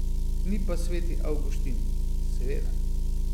Ni pa sveti Avguštin, seveda.